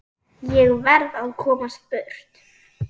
Ég verð að komast burt.